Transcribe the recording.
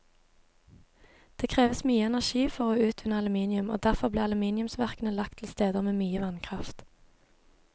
Det kreves mye energi for å utvinne aluminium, og derfor ble aluminiumsverkene lagt til steder med mye vannkraft.